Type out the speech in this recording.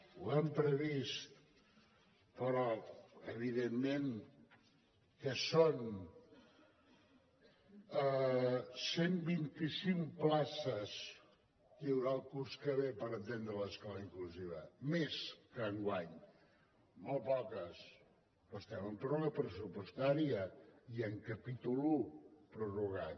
ho hem previst però evidentment què són cent vint i cinc places que hi haurà el curs que ve per atendre l’escola inclusiva més que enguany molt poques però estem amb pròrroga pressupostària i amb capítol un prorrogat